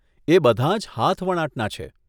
એ બધાં જ હાથવણાટના છે.